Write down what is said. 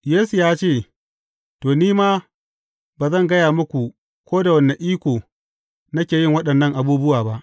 Yesu ya ce, To, ni ma ba zan gaya muku ko da wane iko nake yin waɗannan abubuwa ba.